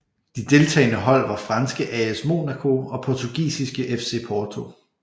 De deltagende hold var franske AS Monaco og portugisiske FC Porto